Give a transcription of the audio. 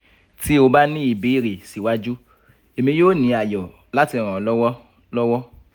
ti o ba ni ibeere siwaju emi yoo ni ayọ lati ran ọ lọwọ lọwọ